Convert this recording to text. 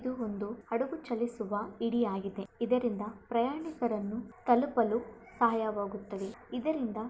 ಇದು ಒಂದು ಹಡಗು ಚಲಿಸುವ ಹಿಡಿಯಾಗಿದೆ ಇದರಿಂದ ಪ್ರಯಾಣಿಕರನ್ನು ತಲುಪಲು ಸಹಾಯವಾಗುತ್ತದೆ ಇದರಿಂದ--